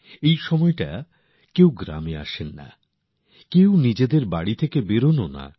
এই সময়টাতে তাঁরা এক গ্রাম থেকে আরেক গ্রামে আসেন না বা নিজেদের ঘর থেকেও বেরোনও না